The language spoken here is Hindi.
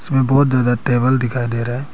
इसमें बहुत ज्यादा टेबल दिखाई दे रहे।